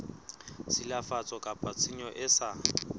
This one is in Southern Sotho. tshilafatso kapa tshenyo e sa